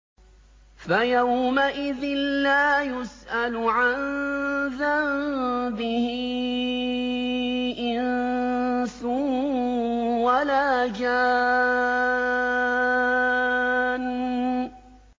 فَيَوْمَئِذٍ لَّا يُسْأَلُ عَن ذَنبِهِ إِنسٌ وَلَا جَانٌّ